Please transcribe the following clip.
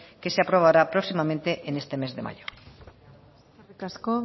que se aprobará próximamente en este mes de mayo eskerrik asko